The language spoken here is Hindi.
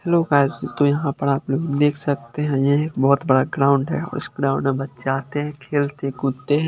हेलो गायज़ तो यहां पर आप लोग देख सकते है ये एक बहोत बड़ा ग्राउंड है और इस ग्राउंड में बच्चे आते है खेलते कूदते है।